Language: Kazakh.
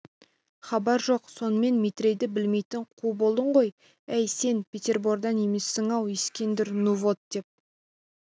хабар жоқ сонымен метрейді білмейтін қу болдың ғой әй сен петербордан емессің-ау ескендір ну вот деп